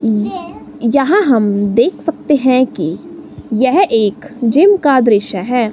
य यहां हम देख सकते हैं कि यह एक जिम का दृश्य है।